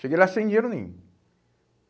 Cheguei lá sem dinheiro nenhum.